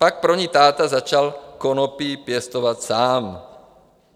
Pak pro ni táta začal konopí pěstovat sám.